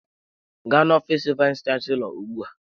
Gaa n'ofiis vayis chansilọ ugbu a!